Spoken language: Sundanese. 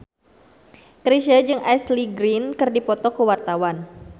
Chrisye jeung Ashley Greene keur dipoto ku wartawan